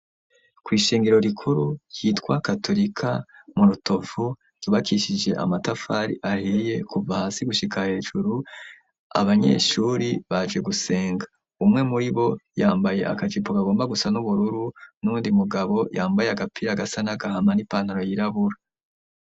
Ko'ishengero rikuru ryitwa katurika murutovu yubakishije amatafari ahiye kuva hasi gushika hejuru abanyeshuri baje gusenga umwe muri bo yambaye akajipo gagomba gusa n'ubururu n'undi mugabo yambaye agapira agasa n'agahama n'ipantaro yirabura.